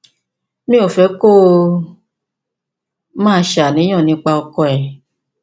mi ò fẹ kó o máa ṣàníyàn nípa ọkọ rẹ